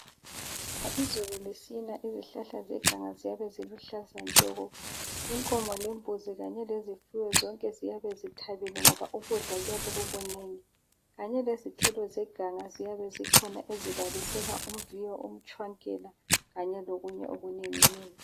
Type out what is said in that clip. Nxa izulu lisina izihlahla zeganga ziyabe ziluhlaza tshoko. Inkomo lembuzi kanye lezifuyo zonke ziyabe zithabile ngoba ukudla kuyabe kukunengi kanye lezithelo zeganga ziyabe zikhona ezibalisela umviyo, umtshwankela kanye lokunye okunenginengi.